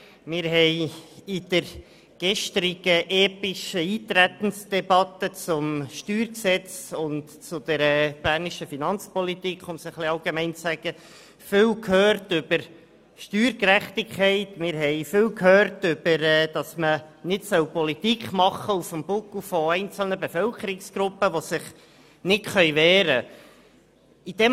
Wir haben in der gestrigen epischen Eintretensdebatte zum StG und zur bernischen Finanzpolitik viel über Steuergerechtigkeit gehört und dass man Politik nicht auf dem Buckel von einzelnen Bevölkerungsgruppen machen soll, die sich nicht wehren können.